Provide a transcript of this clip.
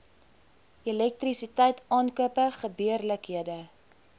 elektrisiteit aankope gebeurlikhede